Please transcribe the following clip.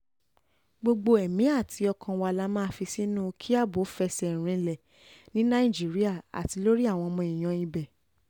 gbogbo ẹ̀mí àti ọkàn wa la máa fi sínú kí ààbò fẹsẹ̀ rinlẹ̀ ní nàìjíríà àti lórí àwọn èèyàn ibẹ̀